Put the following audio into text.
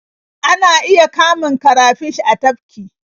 Ana iya kamun karafish a tafki.